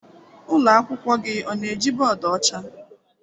Ụlọ akwụkwọ gị ọ na-eji bọọdụ ọcha?